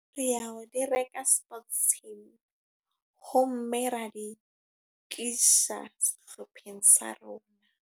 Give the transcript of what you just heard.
Re a o di reka sports team. Ho mme ra di tlisa sehlopheng sa rona.